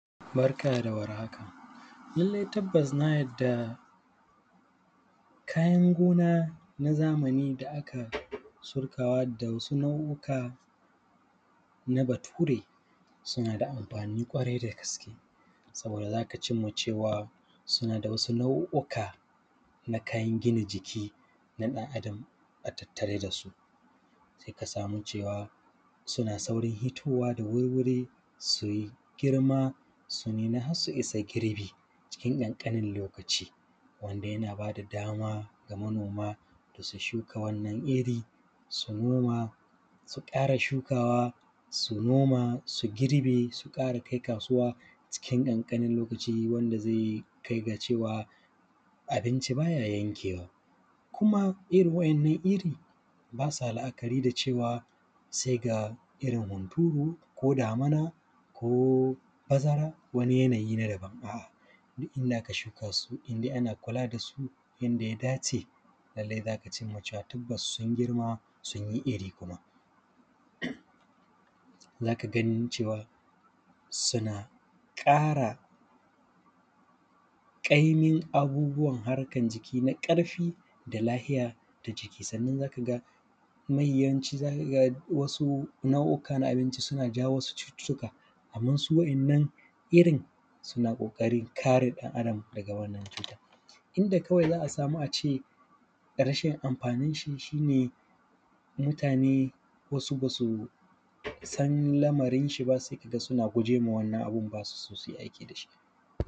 Barka da warhaka. Lallai tabbas na yarda, kayan gona na zamani da aka surkawa da wasu nau’uka na Bature, suna da amfani ƙwarai da gaske, saboda za ka cim ma cewa suna da wasu nau’uka na kayan gina jiki na ɗan’adam a tattare da su. Sai ka samu cewa, suna saurin hitowa su yi girma su nuna har su isa girbi cikin ƙanƙanin lokaci, wanda yana ba da dama ga manoma da su shuka wannan iri, su noma, su ƙara shukawa, su noma, su girbe, su ƙara kai kasuwa cikin ƙanƙanin lokaci wanda zai kai ga cewa abinci ba ya yankewa. Kuma irin wa`yannan iri, ba sa la’akari da cewa sai ga irin hunturu, ko damuna, ko bazara, wani yanayi na daban ba, a’a, inda aka shuka su, in dai ana kula da su yanda ya dace, lallai za ka cim ma cewa tabbas sun girma sun yi iri kuma. Za ka gani cewa, suna ƙara ƙaimin abubuwan harkan jiki na ƙarfi da lahiya ta jiki. Sannan za ka ga, kuma yawanci za ka ga wasu nau’uka na abinci suna jawo wasu cututtuka, amman su wa`yannan irin, suna ƙoƙarin kare ɗan’adam daga wannan cutar. Inda kawai za a samu a ce rashin amfaninshi shi ne, mutane wasu ba su san lamarinshi ba sai ka ga suna guje wa wannan abun ba su so su yi aiki da shi.